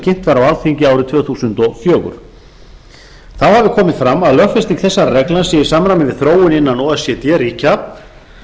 kynnt var á alþingi árið tvö þúsund og fjögur þá hafi komið fram að lögfesting þessara reglna sé í samræmi við þróun innan o e c d ríkja